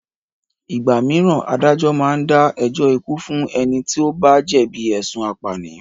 Ìgbà míràn adájọ́ máa ń dá ẹjọ́ ikú fún ẹni tí o bá jẹ̀bi ẹ̀sùn apànìyàn.